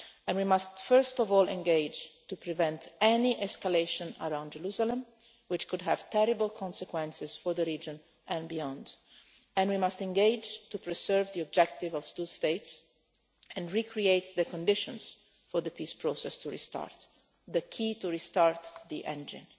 We must first of all engage to prevent any escalation around Jerusalem, which could have terrible consequences for the region and beyond, and we must engage to preserve the objective of two states and recreate the conditions for the peace process to restart the key to restart the engine.